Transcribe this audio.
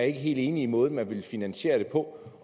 ikke er helt enige i måden man vil finansiere det på